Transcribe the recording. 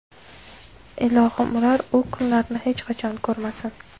Ilohim, ular u kunlarni hech qachon ko‘rmasin.